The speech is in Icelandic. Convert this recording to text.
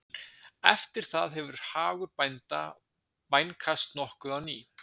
Eftir það hefur hagur bænda vænkast nokkuð á ný.